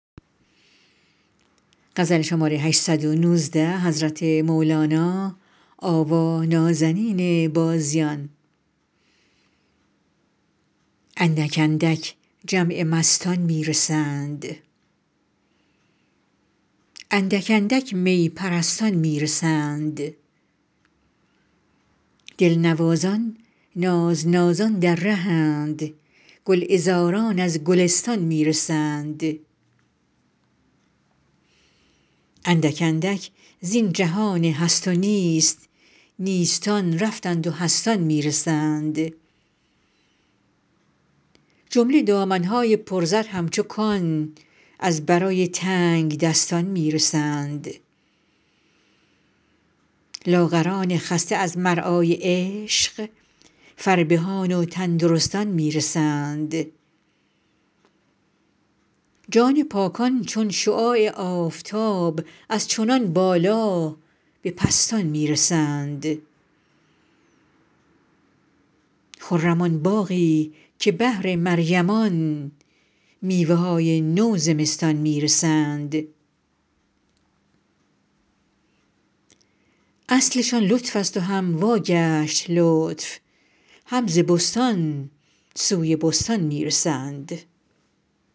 اندک اندک جمع مستان می رسند اندک اندک می پرستان می رسند دلنوازان نازنازان در ره اند گلعذاران از گلستان می رسند اندک اندک زین جهان هست و نیست نیستان رفتند و هستان می رسند جمله دامن های پرزر همچو کان از برای تنگدستان می رسند لاغران خسته از مرعای عشق فربهان و تندرستان می رسند جان پاکان چون شعاع آفتاب از چنان بالا به پستان می رسند خرم آن باغی که بهر مریمان میوه های نو زمستان می رسند اصلشان لطفست و هم واگشت لطف هم ز بستان سوی بستان می رسند